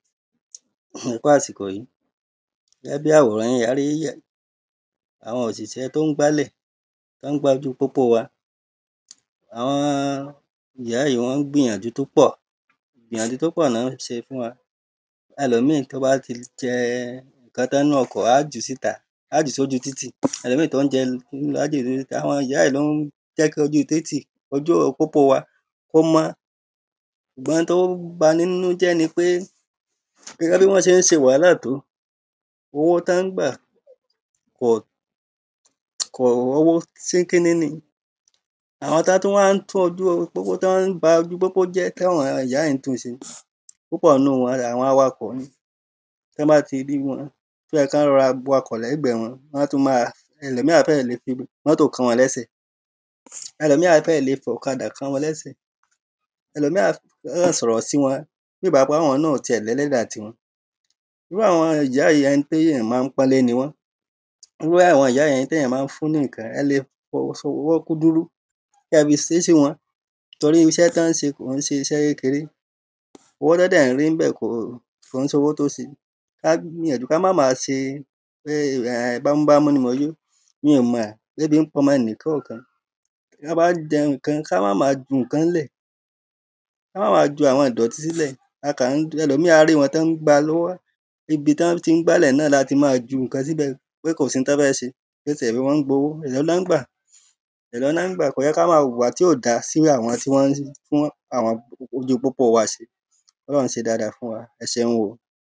kú àsìkò yìí Gẹ́gẹ́ bi àwòrán yín a rí àwọn òṣìṣẹ́ tí ó ń gbálẹ̀ tí wọ́n ń gbá ojú pópó wa Àwọn ìyá yìí wọ́n ń gbìyànjú tí ó pọ̀ Ìyànjú tí ó pọ̀ ni wọ́n ń ṣe fún wa Ẹlòmíì tí ó bá ti jẹ nǹkan tán nínú ọkọ̀ á á jù ú síta Á á jù ú sí ojú títì àwọn ìyá yìí ni ó ń jẹ́ kí ojú títì ojú pópó wa kí ó mọ́ Ṣùgbọ́n oun tí ó ń bani nínú jẹ́ ni pé gẹ́gẹ́ bí wọ́n ṣe ń ṣe wàhálà tó owó tí wọ́n ń gbà kò owó ṣíkíní ni Àwọn tí wọn tún wá ń tún ojú pópó tí wọ́n ba ojú pópó jẹ́ ti àwọn ìyá yìí ń tún ṣe púpọ̀ nínú wọn àwọn awakọ̀ ni Tí wọn bá ti rí wọn tí ó yẹ kí wọ́n rọra wa ọkọ̀ lẹ́gbẹ̀ẹ́ wọn wọ́n á tún máa ẹlòmíì á fẹ́ẹ̀ lè fi mọtò kán wọn lẹ́sẹ̀ Ẹlòmíì á fẹ́ẹ̀ lè fi ọ̀kadà kán wọn lẹ́sẹ̀ Ẹlòmíì á kàn sọ̀rọ̀ sí wọn bíi ìgbà pé àwọn náà ò tiẹ̀ ní ẹlẹ́dàá ti wọn Irú àwọn ìyá ẹni ti èyàn ma ń pọ́nlé ni wọ́n Irú àwọn ìyá yìí ẹni tí èyàn ma ń fún ní nǹkan ni Ẹ lè ṣe ọwọ́ kúdúrú kí ẹ fi ṣe sí wọn torí iṣẹ́ tí wọ́n ń ṣe kìí ṣe iṣẹ́ kékéré Owó tí wọ́n dẹ̀ ń rí níbẹ̀ kò kò ń ṣe owó tí ó ṣe Kí á gbìyànjú kí á má ma ṣe pé ẹn bámúbámú ni mo yó mi ò mọ̀ bóyá ebi ń pa ọmọ ẹnìkọòkan Tí a bá jẹ nǹkan kí á má máa ju nǹkan lẹ̀ Kí á má máa ju àwọn ìdọtí sílẹ̀ A kàn ń ẹlòmíì á rí wọn tí wọ́n ń gba lọ́wọ́ Ibi tí wọ́n ti ń gbálẹ̀ náà láti ma ju nǹkan síbẹ̀ pé kò sí oun tí wọ́n fẹ́ ṣe pé ṣèbí wọ́n ń gbowó Èló ni wọ́n ń gbà èló ni wọ́n ń gbà kò yẹ kí á máa hùwà tí ò da sí irú àwọn tí wọ́n tún àwọn ojú pópó wa ṣe ṣe dada fún wa Ẹ ṣeun o